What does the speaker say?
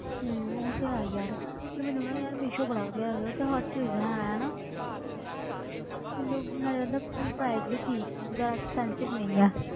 ਹਮ ਉਹ ਤੇ ਹੈ ਯਾਰ ਪਰ ਮੈਨੂੰ ਨਾ ਯਾਰ ਮੀਸ਼ੋ ਬੜਾ ਵਧੀਆ ਲੱਗਦਾ ਉਹ ਤੇ ਹਰ ਚੀਜ਼ ਹੈ ਨਾ ਮੈਨੂੰ ਨਾਲੇ ਉਹਦਾ price ਵੀ ਠੀਕ ਰਹਿੰਦਾ ਹੈ expensive ਨਹੀਂ ਆ